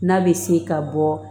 N'a bɛ se ka bɔ